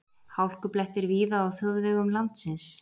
Hálkublettir víða á þjóðvegum landsins